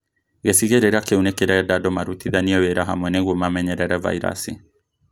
Gĩcigĩrĩra kĩu nĩkĩrenda andũ marutithanie wĩra hamwe nĩguo mamenyerere vairasi